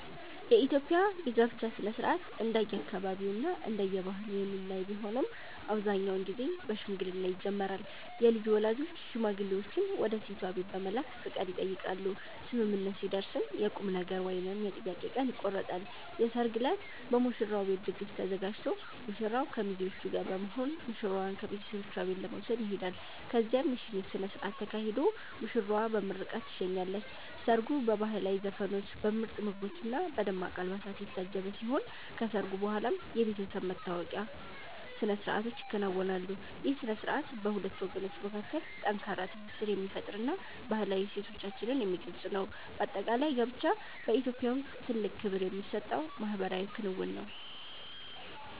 የኢትዮጵያ የጋብቻ ሥነ ሥርዓት እንደየአካባቢውና እንደየባህሉ የሚለያይ ቢሆንም፣ አብዛኛውን ጊዜ በሽምግልና ይጀምራል። የልጁ ወላጆች ሽማግሌዎችን ወደ ሴቷ ቤት በመላክ ፈቃድ ይጠይቃሉ፤ ስምምነት ሲደረስም የቁምነገር ወይም የጥያቄ ቀን ይቆረጣል። የሰርግ ዕለት በሙሽራው ቤት ድግስ ተዘጋጅቶ ሙሽራው ከሚዜዎቹ ጋር በመሆን ሙሽራዋን ከቤተሰቦቿ ቤት ለመውሰድ ይሄዳል። በዚያም የሽኝት ሥነ ሥርዓት ተካሂዶ ሙሽራዋ በምርቃት ትሸኛለች። ሰርጉ በባህላዊ ዘፈኖች፣ በምርጥ ምግቦችና በደማቅ አልባሳት የታጀበ ሲሆን፣ ከሰርጉ በኋላም የቤተሰብ መተዋወቂያ ሥነ ሥርዓቶች ይከናወናሉ። ይህ ሥነ ሥርዓት በሁለት ወገኖች መካከል ጠንካራ ትስስር የሚፈጥርና ባህላዊ እሴቶቻችንን የሚገልጽ ነው። በአጠቃላይ፣ ጋብቻ በኢትዮጵያ ውስጥ ትልቅ ክብር የሚሰጠው ማኅበራዊ ክንውን ነው።